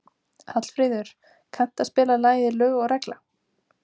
Hallfríður, kanntu að spila lagið „Lög og regla“?